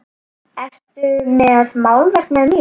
Ertu með málverk með þér?